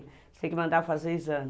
Tem que mandar fazer o exame.